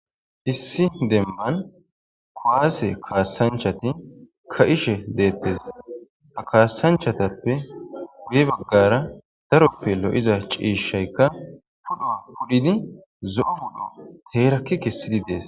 issi demban kowaase kaassanchati ka7ishe deettes ha kaassanchatappe guye baggara daroppe lo7iza ciishaykka pudho pudhidi zo7o pudho heerakki kessidi dees